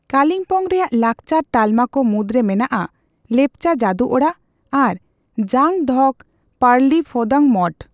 ᱠᱟᱞᱤᱢᱯᱚᱝ ᱨᱮᱭᱟᱜ ᱞᱟᱠᱪᱟᱨ ᱛᱟᱞᱢᱟ ᱠᱚ ᱢᱩᱫᱽᱨᱮ ᱢᱮᱱᱟᱜᱼᱟ ᱞᱮᱯᱪᱟ ᱡᱟᱹᱫᱩ ᱚᱲᱟᱜ ᱟᱨ ᱡᱟᱝ ᱫᱷᱳᱠ ᱯᱟᱞᱨᱤ ᱯᱷᱳᱫᱟᱝ ᱢᱚᱴᱷ ᱾